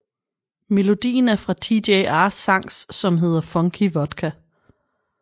Melodien er fra TJR sangs som hedder Funky Vodka